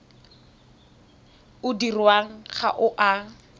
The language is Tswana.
o dirwang ga o a